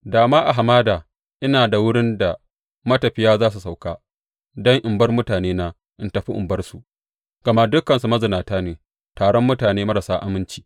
Da ma a hamada ina da wurin da matafiye za su sauka, don in bar mutanena in tafi in bar su; gama dukansu mazinata ne, taron mutane marasa aminci.